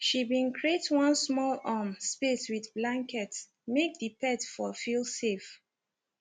she been create one small um space with blankets make the pet for feel safe